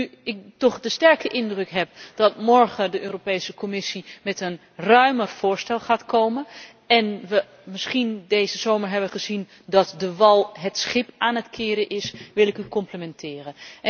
Nu ik toch de sterke indruk heb dat morgen de Europese Commissie met een ruimer voorstel gaat komen en wij misschien deze zomer hebben gezien dat de wal het schip aan het keren is, wil ik u complimenteren.